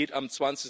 Es geht am